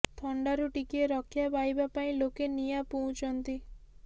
ଥଣ୍ଡାରୁ ଟିକିଏ ରକ୍ଷା ପାଇବା ପାଇଁ ଲୋକେ ନିଆଁ ପୁଉଁଛନ୍ତି